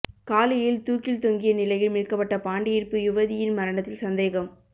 காலியில் தூக்கில் தொங்கிய நிலையில் மீட்க்கப்பட்ட பாண்டிருப்பு யுவதியின் மரணத்தில் சந்தேகம்